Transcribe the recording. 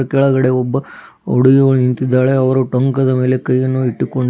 ಕೆಳಗಡೆ ಒಬ್ಬ ಹುಡುಗಿಯು ನಿಂತಿದ್ದಾಳೆ ಅವರು ಟೊಂಕದ ಮೇಲೆ ಕೈಯನ್ನು ಇಟ್ಟುಕೊಂಡು--